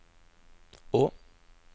å